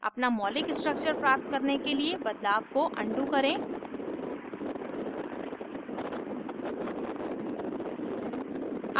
अपना मौलिक structures प्राप्त करने के लिए बदलाव को undo करें